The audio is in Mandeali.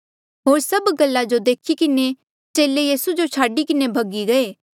होर सभ गल्ला जो देखी किन्हें चेले यीसू जो छाडी किन्हें भगी गये